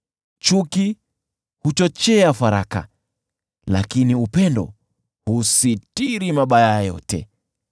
Chuki huchochea faraka, lakini upendo husitiri mabaya yote.